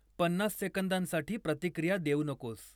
पन्नास सेकंदांसाठी प्रतिक्रिया देऊ नकोस